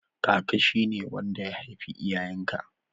Kaka shi ne wanda ya haifi iyayen ka